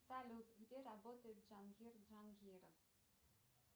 салют где работает джангир джангиров